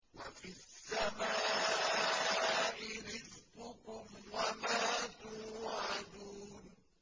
وَفِي السَّمَاءِ رِزْقُكُمْ وَمَا تُوعَدُونَ